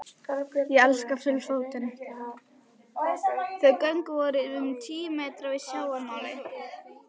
Þau göng voru um tíu metra yfir sjávarmáli.